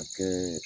A kɛ